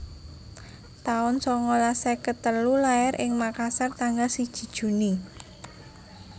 taun songolas seket telu Lair ing Makassar tanggal siji Juni